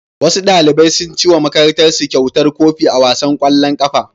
Wasu ɗalibai sun ciwo wa makarantarsu kyautar kofi a wasan ƙwallon ƙafa.